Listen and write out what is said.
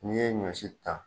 N'i ye ɲɔsi ta